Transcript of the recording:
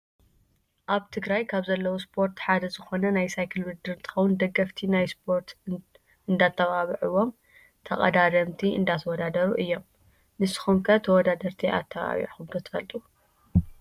ኣብ ትግራይ ካብ ዘለው ስፖርት ሓደ ዝኮነ ናይ ሳይክል ውድድር እንትከውን ደገፍቲ ናይ ስፖርት እንዳተባብዕዎም ተቀዳደምቲ እንዳተወዳደሩ እዮም። ንስኩም ከ ተወዳደርቲ ኣተባብዕኩም ዶ ትፈልጡ?